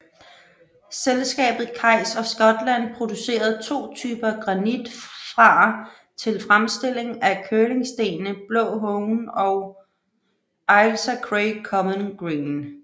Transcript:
Selskabet Kays of Scotland producerede to typer granit fra til fremstilling af curlingstenene Blå Hone og Ailsa Craig Common Green